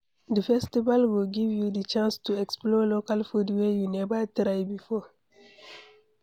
Di festivals go give you di chance to explore local food wey you never try before